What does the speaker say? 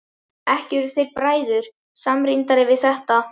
Ekki urðu þeir bræður samrýndari við þetta.